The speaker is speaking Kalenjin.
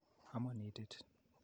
Amon itit.